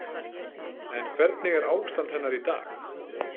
En hvernig er ástand hennar í dag?